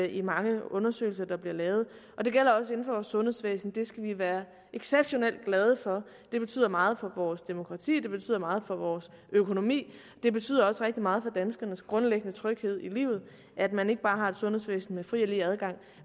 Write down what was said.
i mange undersøgelser der bliver lavet og det gælder også inden for vores sundhedsvæsen det skal vi være exceptionelt glade for det betyder meget for vores demokrati det betyder meget for vores økonomi det betyder også rigtig meget for danskernes grundlæggende tryghed i livet at man ikke bare har et sundhedsvæsen med fri og lige adgang